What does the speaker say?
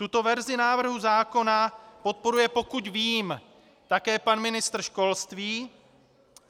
Tuto verzi návrhu zákona podporuje, pokud vím, také pan ministr školství.